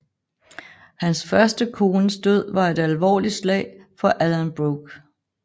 Hans første kones død var et alvorligt slag for Alan Brooke